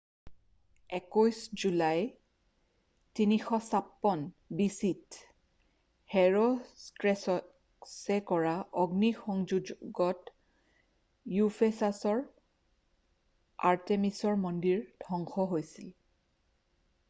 21 July 356 বিচিইত হেৰʼষ্ট্ৰেটাছে কৰা অগ্নিসযোগত ইউফেচাচৰ আৰ্তেমিচ মন্দিৰ ধ্বংস হৈছিল।